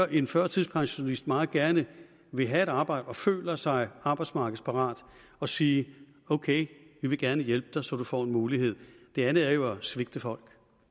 en førtidspensionist meget gerne vil have et arbejde og føler sig arbejdsmarkedsparat og sige ok vi vil gerne hjælpe dig så du får en mulighed det andet er jo at svigte folk